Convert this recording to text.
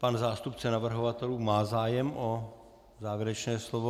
Pan zástupce navrhovatelů má zájem o závěrečné slovo?